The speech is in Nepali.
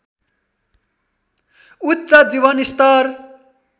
उच्च जीवनस्तर